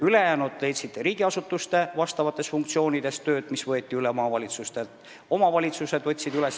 Ülejäänud leidsid tööd riigiasutustes, et täita funktsioone, mis võeti üle maavalitsustelt.